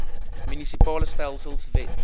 munisipale stelsels wet